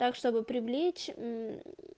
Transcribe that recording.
так чтобы привлечь мм